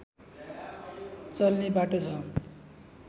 चल्ने बाटो छ